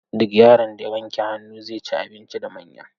Duk yaron da wanke hannu, zai ci abinci da manya.